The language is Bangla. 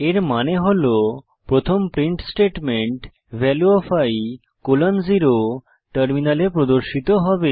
এর মানে হল প্রথম print statement value of i colon 0 টার্মিনালে প্রদর্শিত হবে